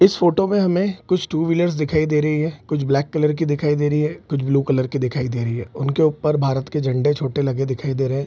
इस फोटो में हमें कुछ टू व्हीलर दिखाई दे रही हैं कुछ ब्लैक कलर के दिखाई दे रही हैं कुछ ब्लू कलर के दिखाई दे रही हैं उनके ऊपर भारत के झंडे छोटे लगे दिखाई दे रहे हैं।